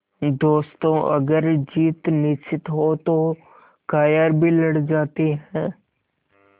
दोस्तों अगर जीत निश्चित हो तो कायर भी लड़ जाते हैं